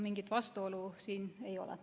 Mingit vastuolu siin ei ole.